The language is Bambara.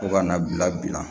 Fo kana bila